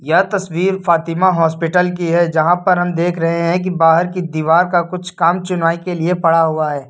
यह तस्वीर फातिमा हॉस्पिटल की है जहां पर हम देख रहे हैं कि बाहर की दीवार का कुछ काम चुनवाई के लिए पड़ा हुआ है।